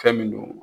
Fɛn min don